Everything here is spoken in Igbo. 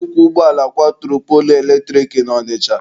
Nnukwu ụgbọala kwaturu poolu eletrik na Ọnịcha.